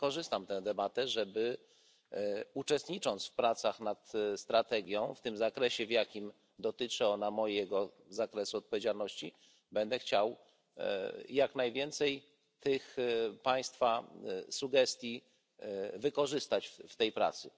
Wykorzystam tę debatę uczestnicząc w pracach nad strategią, w tym zakresie, w jakim dotyczy ona mojego zakresu odpowiedzialności, będę chciał jak najwięcej tych Państwa sugestii wykorzystać w tej pracy.